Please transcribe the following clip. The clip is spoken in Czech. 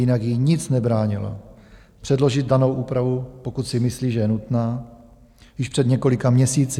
Jinak jí nic nebránilo předložit danou úpravu, pokud si myslí, že je nutná, již před několika měsíci.